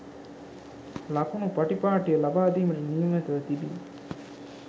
ලකුණු පටිපාටිය ලබාදීමට නියමිතව තිබිණි